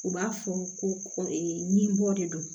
U b'a fɔ ko nin bɔ de don